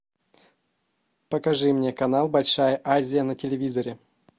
покажи мне канал большая азия на телевизоре